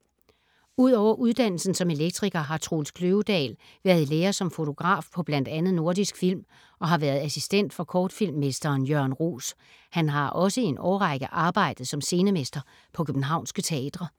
Ud over uddannelsen som elektriker har Troels Kløvedal været i lære som fotograf på bl.a. Nordisk Film og har været assistent for kortfilm-mesteren Jørgen Roos. Han har også i en årrække arbejdet som scenemester på københavnske teatre.